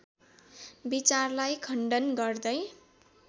विचारलाई खण्डन गर्दै